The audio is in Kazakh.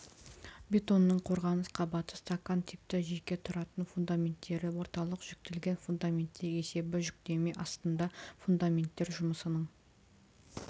бетонның қорғаныс қабаты стакан типті жеке тұратын фундаменттері орталық жүктелген фундаменттер есебі жүктеме астында фундаменттер жұмысының